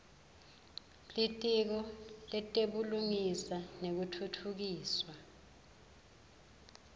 litiko letebulungisa nekutfutfukiswa